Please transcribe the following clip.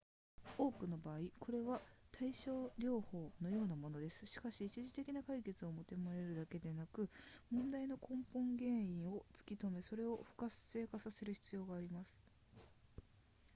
多くの場合これは対症療法のようなものですしかし一時的な解決を求めるだけではなく問題の根本原因を突き止めそれを不活性化させる必要があります